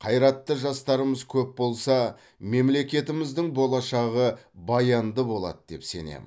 қайратты жастарымыз көп болса мемлекетіміздің болашағы баянды болады деп сенемін